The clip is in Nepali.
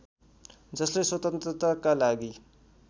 जसले स्वतन्त्रताका लागि